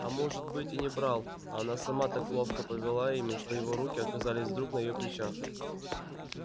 а может быть и не брал а она сама так ловко повела ими что его руки оказались вдруг на её плечах